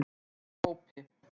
Ég er ekki í þeim hópi.